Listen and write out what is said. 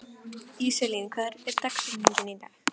Íselín, hver er dagsetningin í dag?